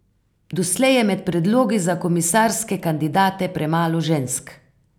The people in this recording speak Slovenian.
Doslej je med predlogi za komisarske kandidate premalo žensk.